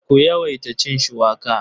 Ku yawaita cin shuwaka.